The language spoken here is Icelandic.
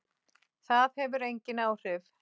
Það hefur engin áhrif.